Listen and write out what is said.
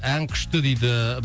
ән күшті дейді